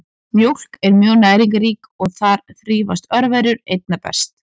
Mjólk er mjög næringarrík og þar þrífast örverur einna best.